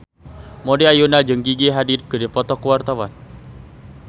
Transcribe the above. Maudy Ayunda jeung Gigi Hadid keur dipoto ku wartawan